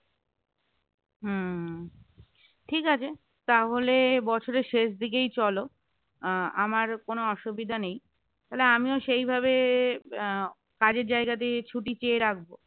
হম ঠিক আছে, তাহলে বছরের শেষ দিকেই চলো আহ আমার কোন অসুবিধা নেই তাহলে আমিও সেই ভাবে আহ কাজের জায়গা দিয়ে ছুটি চেয়ে রাখবো